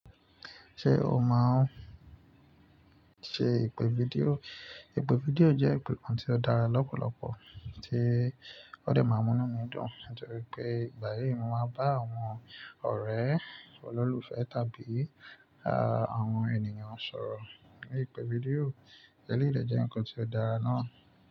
Ṣé o máa ń ṣe ìpè fídíò? Ìpè fídíò jẹ́ ìpè kan tí ó dára lọ́pọ̀lọpọ̀ tí ó de máa múnu mi dùn nítorí pé ìgbà mìí mo máa ń bá àwọn ọ̀rẹ́ olólùfẹ́ tàbí àwọn ènìyàn sọ̀rọ̀ ní ìpè fídíò. Èléyìí de jẹ́ nǹkan tí ó dára náa.